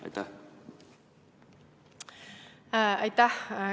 Aitäh!